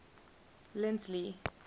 lindley